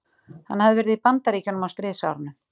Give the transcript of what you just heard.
Hann hafði verið í Bandaríkjunum á stríðsárunum.